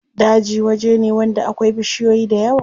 Daji waje ne wanda akwai bishiyoyi dayawa.